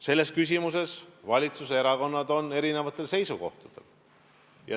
Selles küsimuses on valitsuserakonnad erinevatel seisukohtadel.